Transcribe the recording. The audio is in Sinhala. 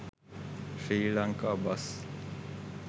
sri lanka bus